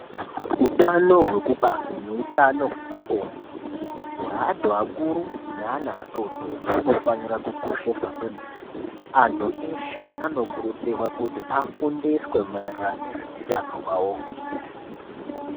Utano hwekubara neutano hwepabonde hweantu akuru neana atotori hunofanira kukosheswa kwemene, antu eshe anokurudzirwa kuti afundiswe maererano nezveutano hwavohwo.